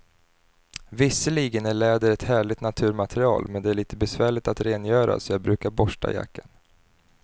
Visserligen är läder ett härligt naturmaterial, men det är lite besvärligt att rengöra, så jag brukar borsta jackan.